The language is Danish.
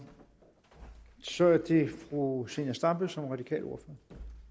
så er det fru zenia stampe som radikal ordfører